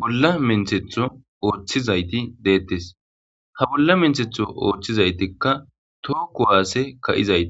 bolla menthetho ooththizayti deettes ha bolla menthetho oothtchizaytikka tookko waase ka'izayti.